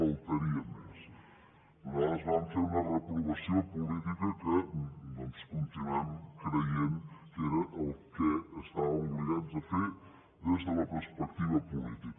faltaria més nosaltres vàrem fer una reprovació política que doncs continuem creient que era el que estàvem obligats a fer des de la perspectiva política